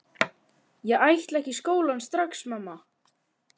Ég ætla ekki í skólann strax, mamma!